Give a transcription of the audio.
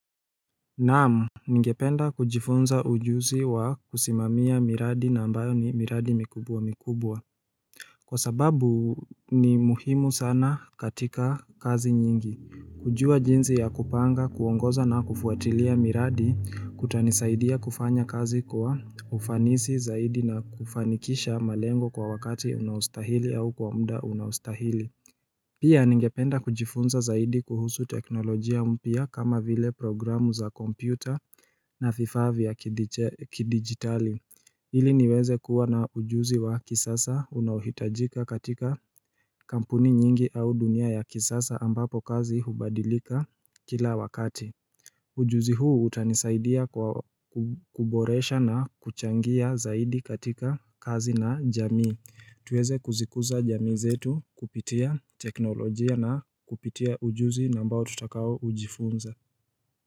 Naam, ningependa kujifunza ujusi wa kusimamia miradi na ambayo ni miradi mikubwa mikubwa. Kwa sababu ni muhimu sana katika kazi nyingi. Kujua jinzi ya kupanga, kuongoza na kufuatilia miradi, kutanisaidia kufanya kazi kwa ufanisi zaidi na kufanikisha malengo kwa wakati unaustahili au kwa mda unaustahili. Pia ningependa kujifunza zaidi kuhusu teknolojia mpia kama vile programu za kompyuta. Na vifaa ya kidigitali hili niweze kuwa na ujuzi wa kisasa unahitajika katika kampuni nyingi au dunia ya kisasa ambapo kazi hubadilika kila wakati. Ujuzi huu utanisaidia kwa kuboresha na kuchangia zaidi katika kazi na jamii tuweze kuzikuza jamii zetu kupitia teknolojia na kupitia ujuzi nambao tutakao ujifunza.